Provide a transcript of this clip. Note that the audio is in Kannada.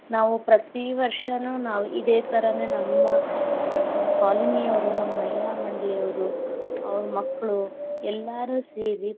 ನಾವ್ ಪ್ರತೀ ವರ್ಷಾನು ನಾವ್ ಇದೆ ತರಾನ ನಮ್ಮ colony ಯವರು, ನಮ್ ಮಹಿಳಾ ಮಂಡಳಿಯವರು, ಅವರ ಮಕ್ಕಳು ಎಲ್ಲಾರು ಸೇರಿ.